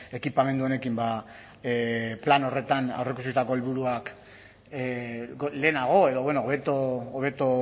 ekipamendu honekin plan horretan aurreikusitako helburuak lehenago edo hobeto